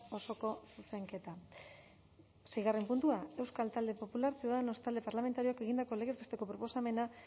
osoko zuzenketa seigarren puntua euskal talde popularra ciudadanos talde parlamentarioak egindako legez besteko proposamena